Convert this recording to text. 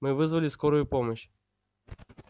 мы вызвали скорую помощь